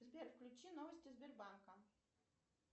сбер включи новости сбербанка